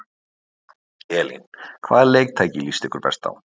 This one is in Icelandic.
Elín: Hvaða leiktæki líst ykkur best á?